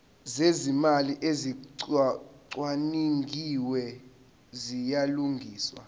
zezimali ezicwaningiwe ziyalungiswa